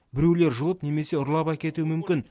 біреулер жұлып немесе ұрлап әкетуі мүмкін